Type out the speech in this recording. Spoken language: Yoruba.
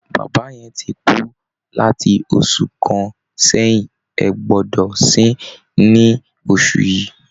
Bàbá yẹn ti kú láti oṣù kan sẹ́yìn, ẹ gbọ́dọ̀ sin-ín ní oṣù yìí!